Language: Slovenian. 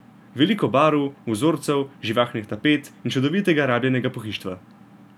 Veliko barv, vzorcev, živahnih tapet in čudovitega rabljenega pohištva.